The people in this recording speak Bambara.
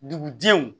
Dugudenw